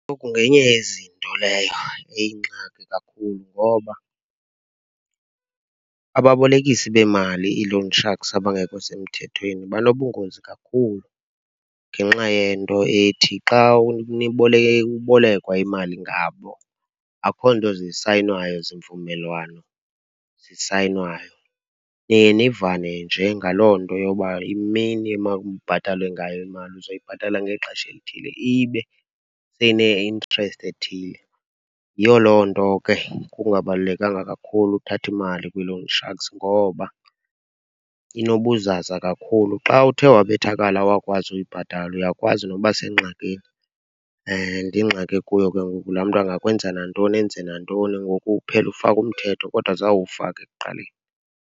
ngenye yezinto leyo eyingxaki kakhulu, ngoba ababolekisi beemali, i-loan sharks abangekho semthethweni banobungozi kakhulu ngenxa yento ethi xa ubulekwa imali ngabo, akukho nto zisayinwayo, zivumelwano zisayinwayo. Niye nivane nje ngaloo nto yokuba imini emakubhatalwe ngayo imali uzoyibhatala ngexesha elithile, ibe seyine-interest ethile. Yiyo loo nto ke kungabalulekanga kakhulu ukuthatha imali kwi-loan sharks ngoba inobuzaza kakhulu. Xa uthe wabethakala awakwazi uyibhatala, uyakwazi nokuba sengxakini and ingxaki okuyo ke ngoku laa mntu angakwenza nantoni, enze nantoni. Ngoku uphele ufaka umthetho kodwa zange uwufake ekuqaleni.